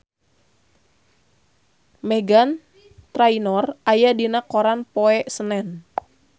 Meghan Trainor aya dina koran poe Senen